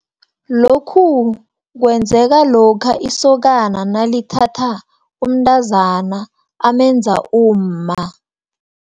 Lokhu, kwenzeka lokha, isokana nalithatha umntazana amenze umma.